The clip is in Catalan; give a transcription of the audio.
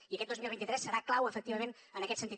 i aquest dos mil vint tres serà clau efectivament en aquest sentit